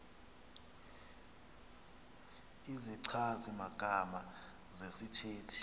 izichazi magama zesithethe